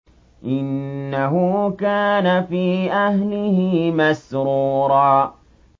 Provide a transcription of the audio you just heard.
إِنَّهُ كَانَ فِي أَهْلِهِ مَسْرُورًا